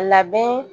Labɛn